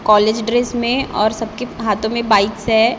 College dress में और सबके हाथों में बाइक्स है।